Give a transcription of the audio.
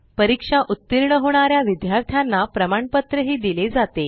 परीक्षा उत्तीर्ण होणाऱ्या विद्यार्थ्यांना प्रमाणपत्र दिले जाते